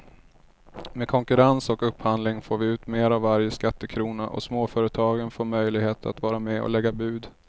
Med konkurrens och upphandling får vi ut mer av varje skattekrona och småföretagen får möjlighet att vara med och lägga bud.